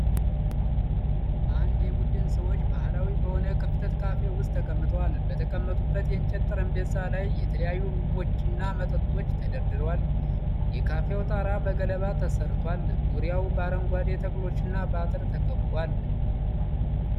አንድ የቡድን ሰዎች ባሕላዊ በሆነ ክፍት ካፌ ውስጥ ተቀምጠዋል። በተቀመጡበት የእንጨት ጠረጴዛ ላይ የተለያዩ ምግቦችና መጠጦች ተደርድረዋል። የካፌው ጣራ በገለባ ተሠርቷል፤ ዙሪያው በአረንጓዴ ተክሎችና በአጥር ተከብቧል።